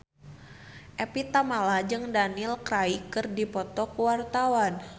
Evie Tamala jeung Daniel Craig keur dipoto ku wartawan